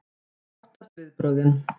Hún óttast viðbrögðin.